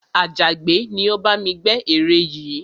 Àjàgbẹ́ ni ó bá mi gbẹ́ ère yìí